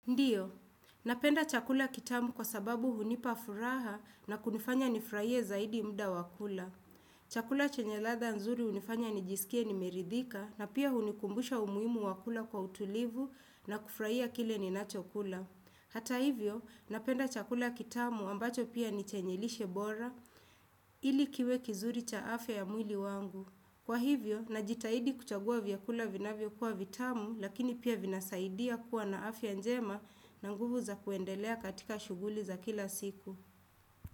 Ndiyo, napenda chakula kitamu kwa sababu hunipa furaha na kunifanya nifurahie zaidi muda wa kula. Chakula chenye ladha nzuri hunifanya nijisikie nimeridhika na pia hunikumbusha umuhimu wa kula kwa utulivu na kufurahia kile ninachokula. Hata hivyo, napenda chakula kitamu ambacho pia ni chenye lishe bora ili kiwe kizuri cha afya ya mwili wangu. Kwa hivyo, najitahidi kuchagua vyakula vinavyokuwa vitamu, lakini pia vinasaidia kuwa na afya njema na nguvu za kuendelea katika shughuli za kila siku.